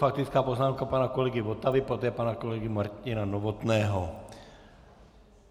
Faktická poznámka pana kolegy Votavy, poté pana kolegy Martina Novotného.